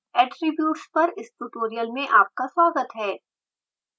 attributes पर इस tutorial में आपका स्वागत है